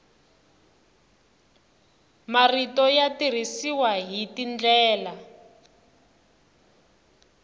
marito ya tirhisiwa hi tindlela